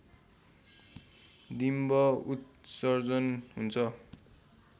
डिम्ब उत्सर्जन हुन्छ